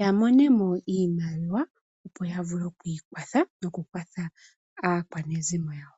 yamonemo iimaliwa opo yavule okwiikwatha, nokukwatha aakwanezimo yawo.